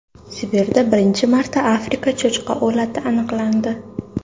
Sibirda birinchi marta Afrika cho‘chqa o‘lati aniqlandi.